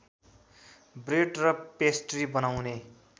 bread र pastry बनाउने